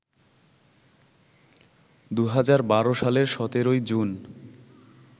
২০১২ সালের ১৭ জুন